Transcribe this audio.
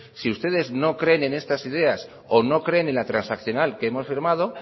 si ustedes no creen en estas ideas o no creen en la transaccional que hemos firmado